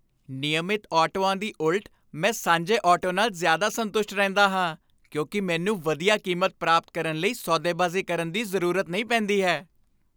ਨਿਯਮਤ ਆਟੋਆਂ ਦੇ ਉਲਟ, ਮੈਂ ਸਾਂਝੇ ਆਟੋ ਨਾਲ ਜ਼ਿਆਦਾ ਸੰਤੁਸ਼ਟ ਰਹਿੰਦਾ ਹਾਂ ਕਿਉਂਕਿ ਮੈਨੂੰ ਵਧੀਆ ਕੀਮਤ ਪ੍ਰਾਪਤ ਕਰਨ ਲਈ ਸੌਦੇਬਾਜ਼ੀ ਕਰਨ ਦੀ ਜ਼ਰੂਰਤ ਨਹੀਂ ਪੈਂਦੀ ਹੈ।